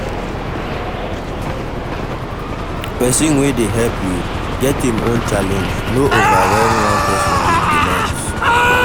Person wey dey help you, get im own challenge no overwhelm one person with demands